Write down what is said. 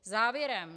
Závěrem.